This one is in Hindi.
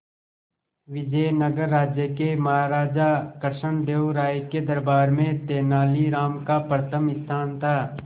विजयनगर राज्य के महाराजा कृष्णदेव राय के दरबार में तेनालीराम का प्रथम स्थान था